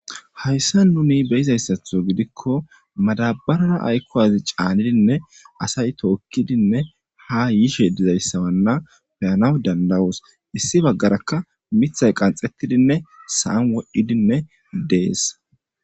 Hayssa nuni beyiza issatho gidikko madabarara ayikko wazi caanidinne asay tookkidinne ha yishe diza issa wanna beyanaw dandayoos. Issi baggarakka mithay qanxettidinne saan wodhdhidinne dees.